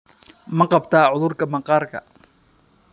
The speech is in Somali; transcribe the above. Ma qabtaa cudurka maqaarka?